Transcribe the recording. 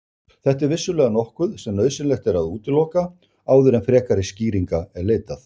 Þetta er vissulega nokkuð sem nauðsynlegt er að útiloka áður en frekari skýringa er leitað.